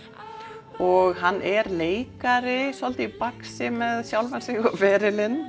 og hann er leikari svolítið í baksi með sjálfan sig og ferilinn